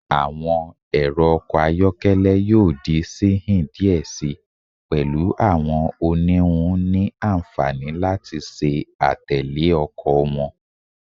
Awọn ẹrọ ọkọ ayọkẹlẹ yoo di sihin diẹ sii, pẹlu awọn oniwun ni anfani lati ṣe atẹle ọkọ wọn